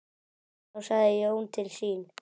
Þá sagði Jón til sín.